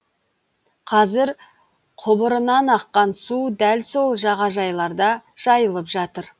казір құбырынан аққан су дәл сол жағажайларда жайылып жатыр